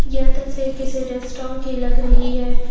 यह तस्वीर किसी रेस्टरां की लग रही है।